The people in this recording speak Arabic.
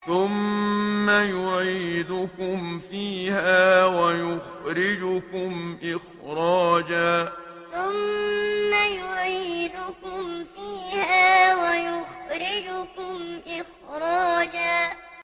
ثُمَّ يُعِيدُكُمْ فِيهَا وَيُخْرِجُكُمْ إِخْرَاجًا ثُمَّ يُعِيدُكُمْ فِيهَا وَيُخْرِجُكُمْ إِخْرَاجًا